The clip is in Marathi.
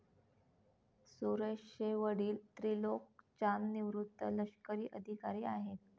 सुरेश चे वडील त्रिलोक चांद निवृत्त लष्करी अधिकारी आहेत.